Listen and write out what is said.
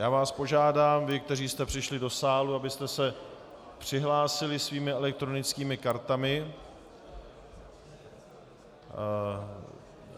Já vás požádám, vás, kteří jste přišli do sálu, abyste se přihlásili svými elektronickými kartami.